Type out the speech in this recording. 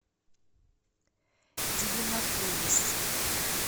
дивинополис